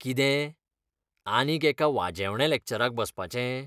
कितें, आनीक एका वाजेवण्या लॅक्चराक बसपाचें?